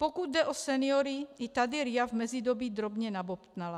Pokud jde o seniory, i tady RIA v mezidobí drobně nabobtnala.